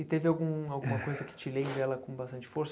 E teve algum alguma coisa que te lembre ela com bastante força?